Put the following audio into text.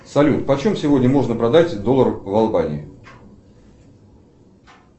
салют почем сегодня можно продать доллар в албании